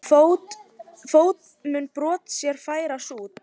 Fót mun brot þér færa sút.